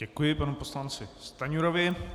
Děkuji panu poslanci Stanjurovi.